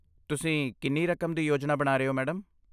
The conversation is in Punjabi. ਤੁਸੀਂ ਕਿੰਨੀ ਰਕਮ ਦੀ ਯੋਜਨਾ ਬਣਾ ਰਹੇ ਹੋ, ਮੈਡਮ?